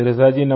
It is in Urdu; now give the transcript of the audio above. مودی جی